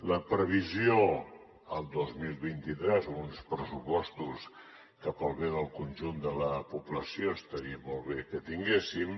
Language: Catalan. la previsió del dos mil vint tres amb uns pressupostos que pel bé del conjunt de la població estaria molt bé que tinguéssim